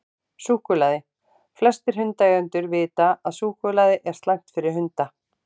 Súkkulaði: Flestir hundaeigendur vita að súkkulaði er slæmt fyrir hunda.